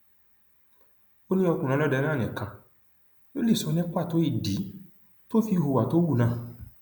ó ní ọkùnrin ọlọdẹ náà nìkan ló lè sọ ní pàtó ìdí tó fi hùwà tó hù náà